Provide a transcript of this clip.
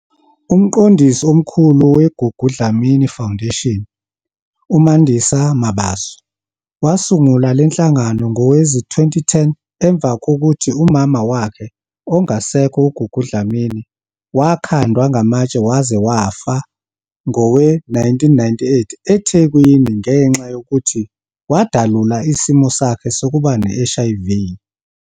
UMqondisi Omkhulu we-Gugu Dlamini Foundation, uMandisa Mabaso, wasungula le nhlangano ngowezi-2010 emva kokuthi umama wakhe ongasekho uGugu Dlamini wakhandwa ngamatshe waze wafa ngowe-1998 eThekwini ngenxa yokuthi wadalula isimo sakhe sokuba ne-HIV.